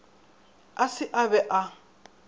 a se a be a